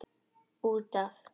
Út af.